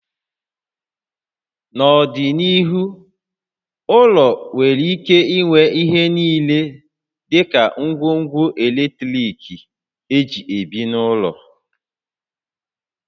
N'ọdịnihu, ụlọ nwere ike inwe ihe niile dị ka ngwongwo eletrik éjị ebi n'ụlọ